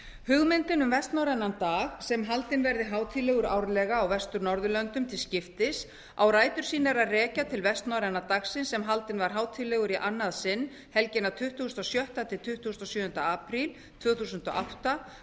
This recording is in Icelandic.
hugmyndin um vestnorrænan dag sem haldinn verði hátíðlegur árlega á vestur norðurlöndunum til skiptis á rætur sínar að rekja til vestnorræna dagsins sem haldinn var hátíðlegur í annað sinn helgina tuttugasta og sjötta til tuttugasta og sjöunda apríl tvö þúsund og átta